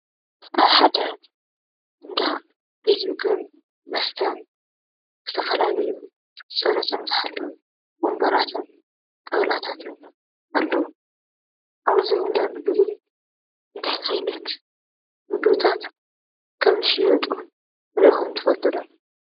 ኣብ ሓደ እንዳ ቤት ምግብን መስተን ዝተፈላለዩ ፅሬቶም ዝሓለዉ ወንበራትን ጣውላታትን ኣለው። ኣብዚ እንዳ ምግቢ እንታይ ዓይነት ምግብታት ከም ዝሽየጡ ሪኢኹም ትፈልጡ ዶ ?